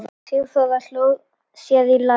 Sigþóra sló sér á lær.